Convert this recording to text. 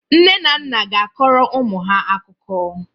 Nne na nna ga-akọrọ ụmụ ha akụkọ.